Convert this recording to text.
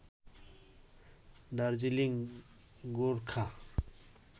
Darjeeling Gorkha